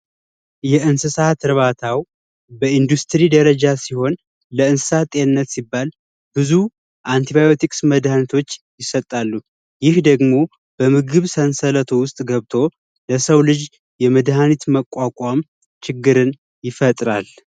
የእንስሳት እርባታ በ ኢንዱስትሪ ደረጃ ሲሆን ለእንስሳት ጤንነት ሲባል ብዙ መድኃኒቶች ይሰጣሉ ይህ ደግሞ በምግብ ሰንሰለት ውስጥ ገብቶ ለሰው ልጅ የመድኃኒት መቋቋም ችግርን ይፈጥራል